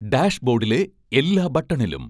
ഡാഷ്ബോഡിലെ എല്ലാ ബട്ടണിലും